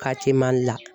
Ka ti mandi la